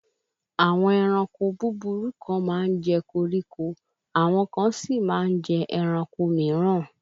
Àwọn ẹranko búburú kan máa ń jẹ koríko, àwọn kan sí máa ń jẹ ẹranko mìíràn